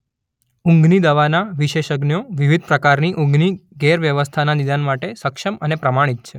ઊંધની દવાના વિશેષજ્ઞો વિવિધ પ્રકારની ઊંઘની ગેરવ્યવસ્થાના નિદાન માટે સક્ષમ અને પ્રમાણિત છે.